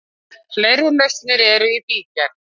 Fleiri lausnir eru í bígerð.